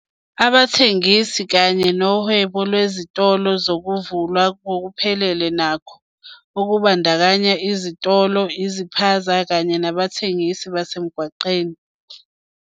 "Abathengisi kanye nohwebo lwezitolo kuzovulwa ngokuphelele nakho, okubandakanya izitolo, iziphaza kanye nabathengisi basemgwaqeni."